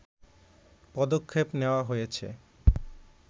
পদক্ষেপ নেয়া হয়েছে